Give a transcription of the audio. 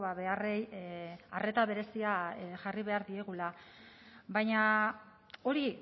beharrei arreta berezia jarri behar diegula baina hori